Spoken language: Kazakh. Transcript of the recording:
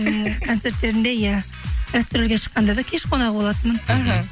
концерттерінде иә гастрольге шыққанда да кеш қонағы болатынмын іхі